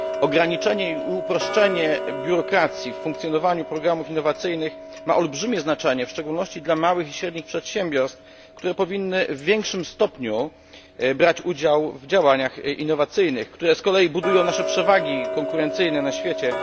Ograniczenie i uproszczenie biurokracji w funkcjonowaniu programów innowacyjnych ma olbrzymie znaczenie, w szczególności dla małych i średnich przedsiębiorstw, które powinny w większym stopniu brać udział w działaniach innowacyjnych, które z kolei budują nasze przewagi konkurencyjne na świecie.